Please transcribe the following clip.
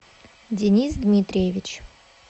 денис дмитриевич